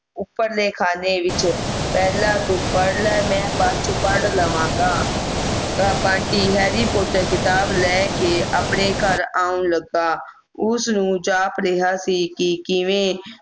ਉਪਰ ਦੇ ਖਾਣੇ ਵਿਚ ਪਹਿਲਾਂ ਤੂੰ ਪੜ੍ਹ ਲੈ ਮੈਂ ਬਾਜ ਦੇ ਵਿਚ ਪੜ੍ਹ ਲਵਾਂਗਾ ਬੰਟੀ harry porter ਖਿਤਾਬ ਲੈ ਕੇ ਆਪਣੇ ਘਰ ਆਉਣ ਲੱਗਾ ਉਸ ਨੂੰ ਜਾਪ ਰਿਹਾ ਸੀ ਕੀ ਕਿਵੇਂ